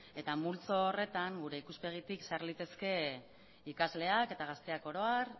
eta multzo horretan gure ikuspegitik sar litezke ikasleak eta gazteak oro har